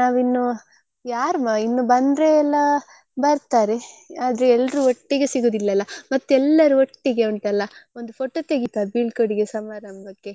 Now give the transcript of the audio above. ನಾವಿನ್ನು ಯಾರ್ ಇನ್ನೂ ಬಂದ್ರೆ ಎಲ್ಲಾ ಬರ್ತಾರೆ ಆದ್ರೆ ಎಲ್ರೂ ಒಟ್ಟಿಗೆ ಸಿಗುವುದಿಲ್ಲಲ್ಲ ಮತ್ತೆ ಎಲ್ಲರೂ ಒಟ್ಟಿಗೆ ಉಂಟಲ್ಲ ಒಂದು photo ತೆಗಿತಾರೆ ಬೀಳ್ಕೊಡುಗೆ ಸಮಾರಂಭಕ್ಕೆ